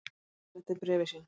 Bogi segir þetta í bréfi sínu: